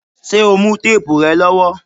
Ṣé o mú téèbù rẹ lọ́wọ́?